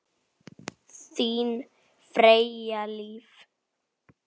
Þín Freyja Líf.